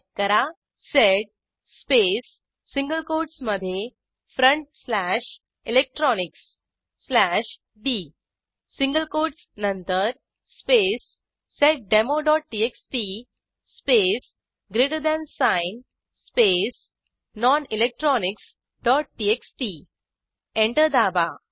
type करा sed space single कोटसमधे front slash electronics slash D single quotes नंतर space seddemoटीएक्सटी space greater than sign space nonelectronicsटीएक्सटी enter दाबा